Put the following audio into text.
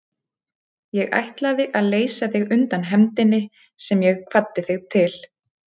Ég ætlaði að leysa þig undan hefndinni sem ég kvaddi þig til.